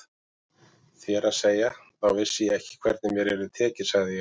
Þér að segja, þá vissi ég ekki hvernig mér yrði tekið sagði ég.